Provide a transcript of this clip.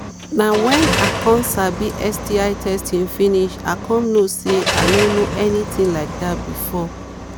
na when i come sabi sti testing finish i come know say i no know anything like that before